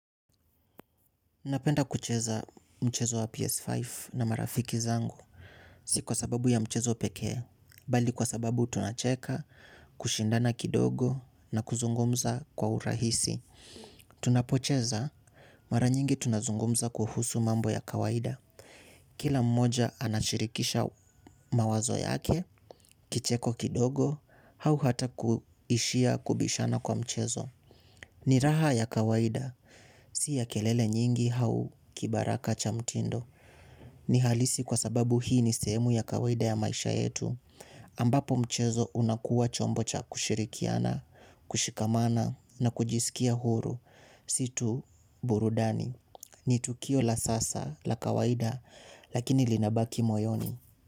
Napenda kucheza mchezo wa PS5 na marafiki zangu si kwa sababu ya mchezo pekee, bali kwa sababu tunacheka, kushindana kidogo na kuzungumza kwa urahisi. Tunapocheza mara nyingi tunazungumza kuhusu mambo ya kawaida. Kila mmoja anashirikisha mawazo yake, kicheko kidogo, au hata kuishia kubishana kwa mchezo. Ni raha ya kawaida. Si ya kelele nyingi au kibaraka cha mtindo. Ni halisi kwa sababu hii ni sehemu ya kawaida ya maisha yetu. Ambapo mchezo unakuwa chombo cha kushirikiana, kushikamana na kujisikia huru. Si tu burudani. Ni tukio la sasa la kawaida lakini linabaki moyoni.